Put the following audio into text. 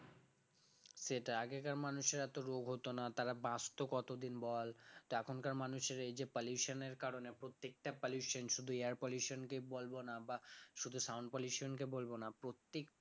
সেটাই আগেকার মানুষের এত রোগ হত না তারা বাঁচতে কত দিন বল তো এখনকার মানুষের এই যে pollution এর কারণে প্রত্যেকটা pollution শুধু air pollution কে বলবো না বা শুধু sound pollution কে বলবো না প্রত্যেকটা